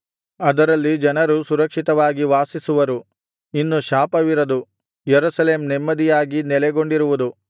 ಅದರಲ್ಲಿ ಜನರು ಸುರಕ್ಷಿತವಾಗಿ ವಾಸಿಸುವರು ಇನ್ನು ಶಾಪವಿರದು ಯೆರೂಸಲೇಮ್ ನೆಮ್ಮದಿಯಾಗಿ ನೆಲೆಗೊಂಡಿರುವುದು